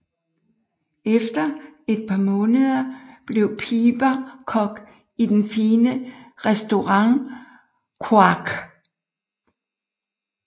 Efter et par måneder blev Piper kok i den fine restaurant Quake